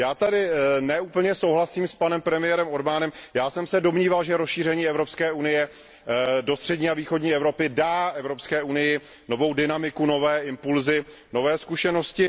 Já tady ne úplně souhlasím s panem premiérem Orbánem, já jsem se domníval, že rozšíření Evropské unie do střední a východní Evropy dá Evropské unii novou dynamiku, nové impulsy, nové zkušenosti.